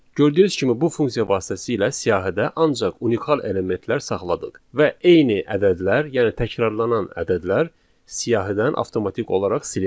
Gördüyünüz kimi bu funksiya vasitəsilə siyahıda ancaq unikal elementlər saxladıq və eyni ədədlər, yəni təkrarlanan ədədlər siyahıdan avtomatik olaraq silindi.